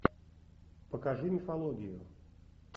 покажи мифологию